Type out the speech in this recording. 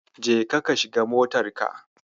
Jeka ka shiga motarka.